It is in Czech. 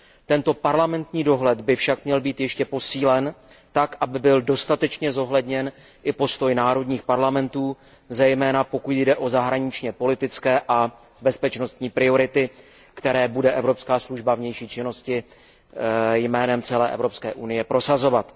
Tento parlamentní dohled by však měl být ještě posílen tak, aby byl dostatečně zohledněn i postoj národních parlamentů, zejména pokud jde o zahraničněpolitické a bezpečnostní priority, které bude Evropská služba pro vnější činnost jménem celé Evropské unie prosazovat.